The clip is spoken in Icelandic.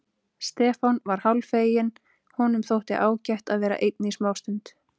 Stefán var hálffeginn, honum þótti ágætt að vera einn í smástund.